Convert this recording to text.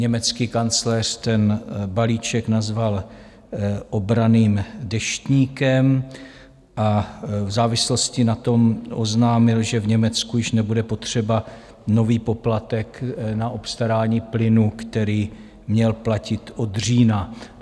Německý kancléř ten balíček nazval obranným deštníkem a v závislosti na tom oznámil, že v Německu již nebude potřeba nový poplatek na obstarání plynu, který měl platit od října.